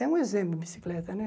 É um exemplo a bicicleta, né?